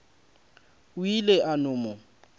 o ile a no mo